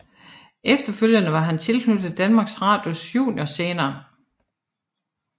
Efterfølgende var han tilknyttet Danmarks Radios juniorscene